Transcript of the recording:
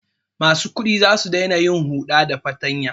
Masu kuɗi za su daina yin huɗa da fatanya.